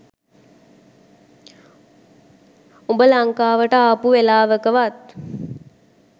උඹ ලංකාවට ආපු වෙලාවකවත්